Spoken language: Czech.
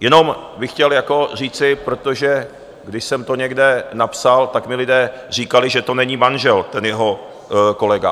Jenom bych chtěl říci, protože když jsem to někde napsal, tak mi lidé říkali, že to není manžel, ten jeho kolega.